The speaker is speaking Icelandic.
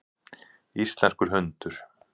Íslenskur hundur.